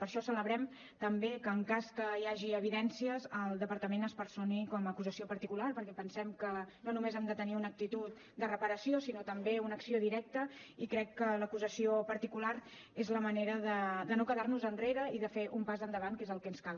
per això celebrem també que en cas que hi hagi evidències el departament es personi com a acusació particular perquè pensem que no només hem de tenir una actitud de reparació sinó també una acció directa i crec que l’acusació particular és la manera de no quedar nos enrere i de fer un pas endavant que és el que ens cal